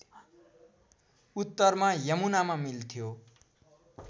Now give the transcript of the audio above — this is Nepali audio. उत्तरमा यमुनामा मिल्थ्यो